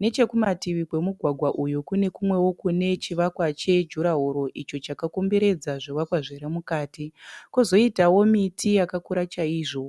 nechekumativi kwamugwagwa uyu kune kumwewo kune chivakwa chejurahoro icho chakakomberedza zvivakwa zviri mukati, kozoitawo miti yakakura chaizvo.